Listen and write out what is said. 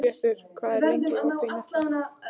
Dagbjartur, hvað er lengi opið í Nettó?